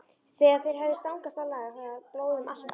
Þegar þeir höfðu stangast á lagaði blóð um allt andlit